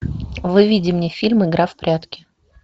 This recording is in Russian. выведи мне фильм игра в прятки